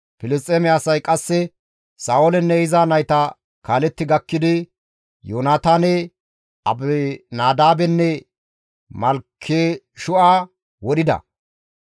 Filisxeeme asay qasse Sa7oolenne iza nayta kaaletti gakkidi Yoonataane, Abinadaabenne Malkeshu7a wodhida.